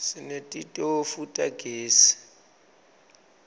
sinetitofu tagezi